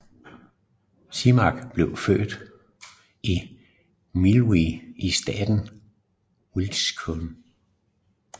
Simak blev født i Millville i staten Wisconsin